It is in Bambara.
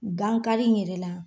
Gankari in yɛrɛ la